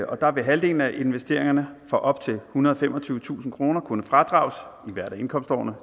og der vil halvdelen af investeringerne for op til ethundrede og femogtyvetusind kroner kunne fradrages i hvert af indkomstårene